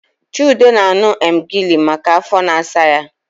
Chude na-aṅù emgili maka afọ na-asa ya